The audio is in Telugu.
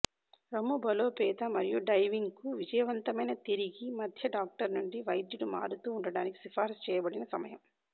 రొమ్ము బలోపేత మరియు డైవింగ్కు విజయవంతమైన తిరిగి మధ్య డాక్టర్ నుండి వైద్యుడు మారుతూ ఉండటానికి సిఫార్సు చేయబడిన సమయం